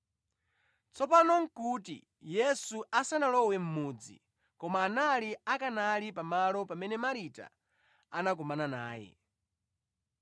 Tsopano nʼkuti Yesu asanalowe mʼmudzi, koma anali akanali pa malo pamene Marita anakumana naye.